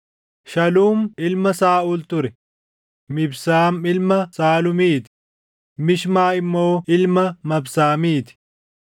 Shaluum ilma Saaʼuul ture; Mibsaam ilma Shaluumiti; Mishmaa immoo ilma Mabsaamiti.